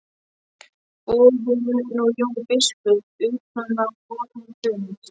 Boðum nú Jón biskup utan á vorn fund.